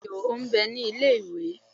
bẹẹni o n bẹ ni ile-iwe.